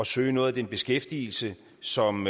søge noget af den beskæftigelse som